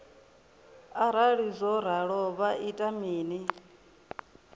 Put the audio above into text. arali zwo ralo vha ita mini